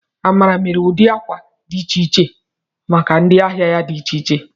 Amara mere ụdị akwa dị iche iche maka ndị ahịa ya dị iche iche.